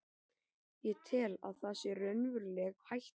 Ég tel að það sé raunveruleg hætta.